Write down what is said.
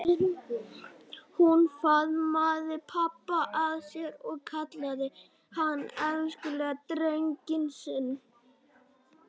Hún faðmaði pabba að sér og kallaði hann elskulega drenginn sinn.